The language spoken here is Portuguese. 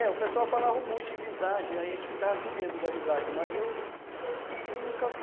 É, o pessoal falava muito em visagem, a gente ficava com medo da visagem, mas eu... eu nunca vi.